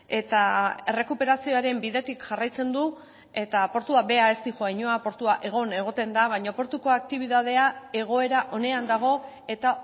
eta errekuperazioaren bidetik jarraitzen du eta portua bera ez doa inora portua egon egoten da baina portuko aktibitatea egoera onean dago eta